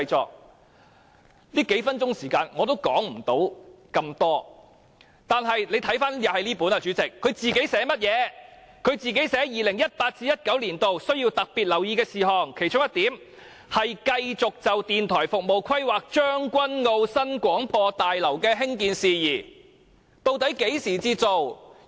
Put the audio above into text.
只有這幾分鐘時間，我也說不了太多，但大家看看這本書寫甚麼，這裏說 2018-2019 年度需要特別留意的事項，其中一項是"繼續就電台服務規劃將軍澳新廣播大樓的興建事宜"，究竟何時才做？